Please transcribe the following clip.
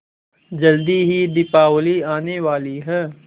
जल्दी ही दीपावली आने वाली है